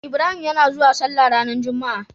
Ibrahim yana zauwa sallah ranar juma a